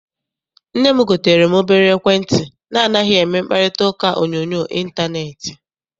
Nne m gotere m obere ekwentị na anaghị eme mkparitauka onyoonyo intaneeti.